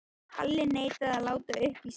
Kalli neitaði að láta uppi sínar sýnir.